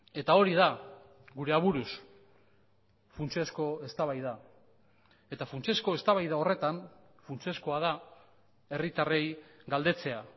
eta hori da gure aburuz funtsezko eztabaida eta funtsezko eztabaida horretan funtsezkoa da herritarrei galdetzea